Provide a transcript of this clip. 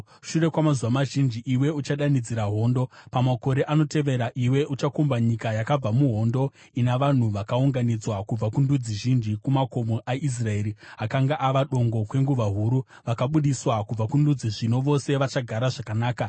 Shure kwamazuva mazhinji iwe uchadanidzira hondo. Pamakore anotevera, iwe uchakomba nyika yakabva muhondo, ina vanhu vakaunganidzwa kubva kundudzi zhinji kumakomo aIsraeri, akanga ava dongo kwenguva huru. Vakabudiswa kubva kundudzi, zvino vose vachagara zvakanaka.